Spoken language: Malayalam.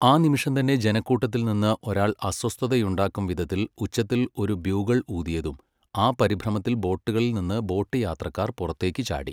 ആ നിമിഷം തന്നെ ജനക്കൂട്ടത്തിൽ നിന്ന് ഒരാൾ അസ്വസ്ഥതയുണ്ടാക്കും വിധത്തിൽ ഉച്ചത്തിൽ ഒരു ബ്യൂഗൾ ഊതിയതും, ആ പരിഭ്രമത്തിൽ ബോട്ടുകളിൽ നിന്ന് ബോട്ട് യാത്രക്കാർ പുറത്തേക്ക് ചാടി.